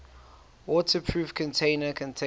waterproof container containing